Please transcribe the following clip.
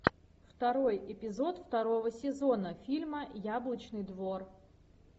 второй эпизод второго сезона фильма яблочный двор